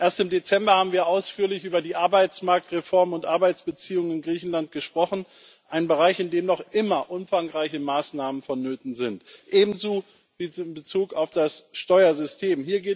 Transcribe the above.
Erst im Dezember haben wir ausführlich über die Arbeitsmarktreformen und Arbeitsbeziehungen in Griechenland gesprochen ein Bereich, in dem noch immer umfangreiche Maßnahmen vonnöten sind, ebenso wie in Bezug auf das Steuersystem.